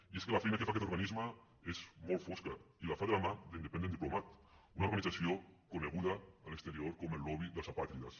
i és que la feina que fa aquest organisme és molt fosca i la fa de la mà d’independent diplomat una organització coneguda a l’exterior com el lobby dels apàtrides